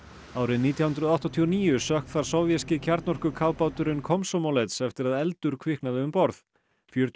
árið nítján hundruð áttatíu og níu sökk þar sovéski kjarnorkukafbáturinn Komsomolets eftir að eldur kviknaði um borð fjörutíu